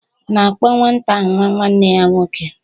...na-akpọ nwata ahụ nwa nwanne ya nwoke